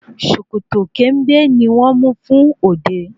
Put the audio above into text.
Sòkòtò kẹ̀ǹbẹ̀ ni wón mú fún òde